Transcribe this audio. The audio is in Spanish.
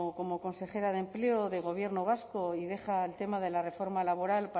como consejera de empleo del gobierno vasco y deja el tema de la reforma laboral